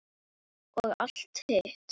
Og allt hitt.